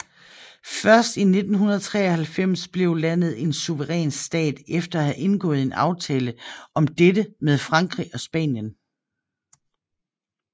Først i 1993 blev landet en suveræn stat efter at have indgået en aftale om dette med Frankrig og Spanien